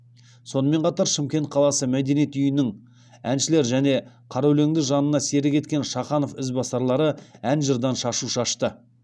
сонымен қатар шымкент қаласы мәдениет үйінің әншілері және қара өлеңді жанына серік еткен шаханов ізбасарлары ән жырдан шашу шашты